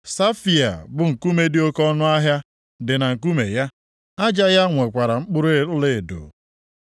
Safaia bụ nkume dị oke ọnụahịa dị na nkume ya; aja ya nwekwara mkpụrụ ọlaedo.